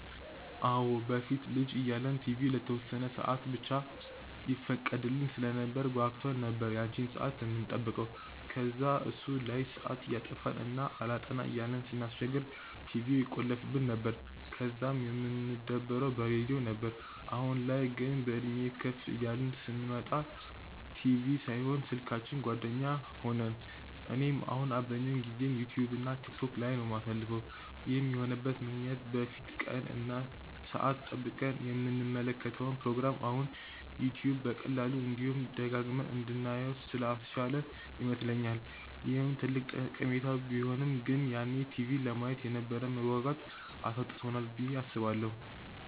አዎ። በፊት ልጅ እያለን ቲቪ ለተወሰነ ሰአት ብቻ ይፈቀድልን ስለነበር ጓጉተን ነበር ያቺን ሰአት የምንጠብቀው። ከዛ እሱ ላይ ሰአት እያጠፋን እና አላጠና እያልን ስናስቸግር ቲቪውን ይቆልፉብን ነበር፤ ከዛ የምንደበረው በሬድዮ ነበር። አሁን ላይ ግን፤ በእድሜም ከፍ እያልን ስንመጣ ቲቪ ሳይሆን ስልካችን ጓደኛ ሆነን። እኔም አሁን አብዛኛውን ጊዜዬን ዩትዩብ እና ቲክቶክ ላይ ነው የማሳልፈው። ይህም የሆነበት ምክንያት በፊት ቀን እና ሰአት ጠብቀን የምንከታተለውን ፕሮግራም አሁን ዩትዩብ በቀላሉ፤ እንዲሁም ደጋግመን እንድናየው ስላስቻለን ይመስለኛል። ይህ ትልቅ ጠቀሜታው ቢሆንም ግን ያኔ ቲቪ ለማየት የነበረንን መጓጓት አሳጥቶናል ብዬ አስባለሁ።